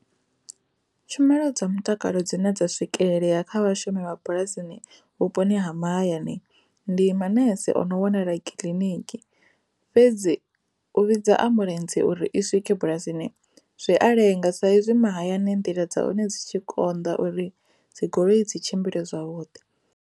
Tshumelo dza mutakalo dzi na dza swikelele ya kha vhashumi vha bulasini vhuponi ha mahayani ndi manese ono wanala kiḽiniki, fhedzi u vhidza ambuḽentse uri i swike bulasini zwi a lenga sa izwi mahayani nḓila dza hone dzi tshi konḓa uri dzigoloi dzi tshimbile zwa vhuḓi.